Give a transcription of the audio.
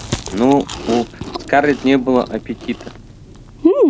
но у скарлетт не было аппетита